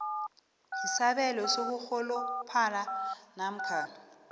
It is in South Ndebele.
isabelo sokurholophala namkha